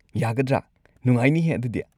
ꯌꯥꯒꯗ꯭ꯔ? ꯅꯨꯡꯉꯥꯏꯅꯤꯍꯦ ꯑꯗꯨꯗꯤ꯫